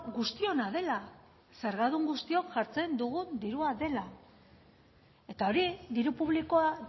guztiona dela zergadun guztiok jartzen dugun dirua dela eta hori diru publikoa